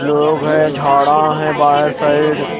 लोग है झाडा है बहर साइड --